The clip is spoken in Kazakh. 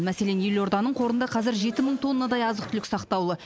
мәселен елорданың қорында қазір жеті мың тоннадай азық түлік сақтаулы